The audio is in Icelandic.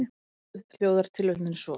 Orðrétt hljóðar tilvitnunin svo:.